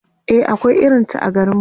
e akwai irinta a garinmu